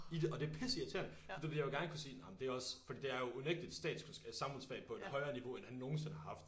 I det og det er pisse irriterende fordi du ved jeg vil gerne kunne sige nej men det er også fordi det er jo unægteligt stats samfundsfag på et højrere niveau end han nogensinde har haft